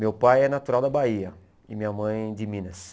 Meu pai é natural da Bahia e minha mãe de Minas.